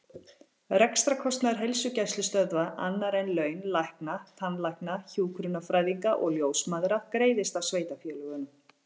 Rekstrarkostnaður heilsugæslustöðva, annar en laun lækna, tannlækna, hjúkrunarfræðinga og ljósmæðra, greiðist af sveitarfélögum.